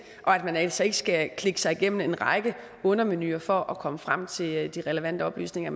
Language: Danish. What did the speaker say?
og at man altså ikke skal klikke sig igennem en række undermenuer for at komme frem til de relevante oplysninger